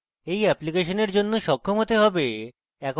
এই অ্যাপ্লিকেশনের জন্য সক্ষম হতে হবে